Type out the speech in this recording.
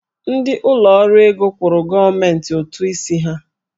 Ndị ụlọ ọrụ ego kwụrụ ndị gọọmentị ụtụ isi ha.